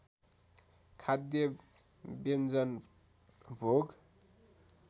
खाद्य व्यञ्जन भोग